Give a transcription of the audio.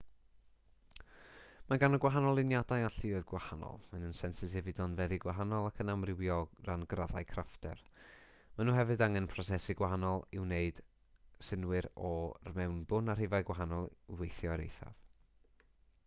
mae gan y gwahanol luniadau alluoedd gwahanol maen nhw'n sensitif i donfeddi gwahanol ac yn amrywio o ran graddau craffter maen nhw hefyd angen prosesu gwahanol i wneud synnwyr o'r mewnbwn a rhifau gwahanol i weithio i'r eithaf